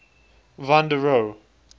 van der rohe